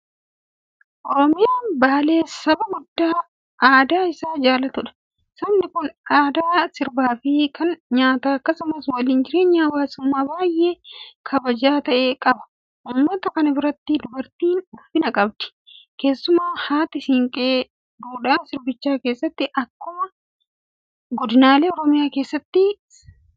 Oromoon baalee saba guddaa aadaa isaa jaalatudha. Sabni kun aadaa sirbaafi kan nyaataa akkasumas waliin jireenya hawaasummaa baay'ee kabajamaa ta'e qaba. Uummata kana biratti dubartiin ulfina qabdi. Keessumaa haati siinqee duudhaa sabichaa keessatti akkuma godinaalee Oromiyaa kaanii iddoo olaanaa qabdi.